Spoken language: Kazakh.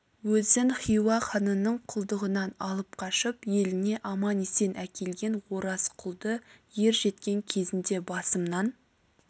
өзін хиуа ханының құлдығынан алып қашып еліне аман-есен әкелген ораз құлды ер жеткен кезінде басымнан